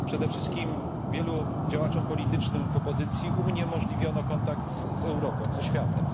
Przede wszystkim wielu działaczom politycznym w opozycji uniemożliwiono kontakt z Europą, ze światem.